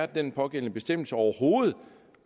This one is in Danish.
den pågældende bestemmelse overhovedet